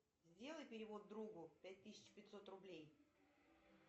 сделай перевод другу пять тысяч пятьсот рублей